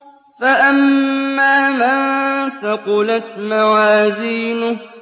فَأَمَّا مَن ثَقُلَتْ مَوَازِينُهُ